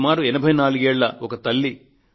సుమారు 84 ఏళ్ళ ఒక తల్లి